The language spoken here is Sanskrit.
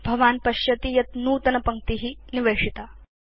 भवान् पश्यति यत् नूतनपङ्क्ति निवेशिता